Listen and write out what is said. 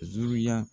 Ziruya